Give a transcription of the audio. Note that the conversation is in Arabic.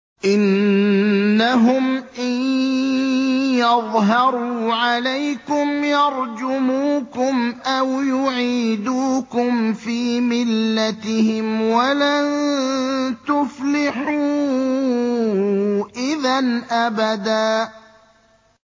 إِنَّهُمْ إِن يَظْهَرُوا عَلَيْكُمْ يَرْجُمُوكُمْ أَوْ يُعِيدُوكُمْ فِي مِلَّتِهِمْ وَلَن تُفْلِحُوا إِذًا أَبَدًا